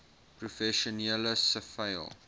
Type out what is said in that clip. professioneel siviel